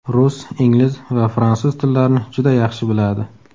Rus, ingliz va fransuz tillarini juda yaxshi biladi.